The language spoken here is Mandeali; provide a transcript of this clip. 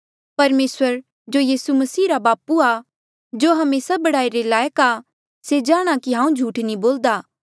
परमेसर जो यीसू मसीह रा बापू जो हमेसा बड़ाई रे लायक आ से जाणहां कि हांऊँ झूठ नी बोल्दा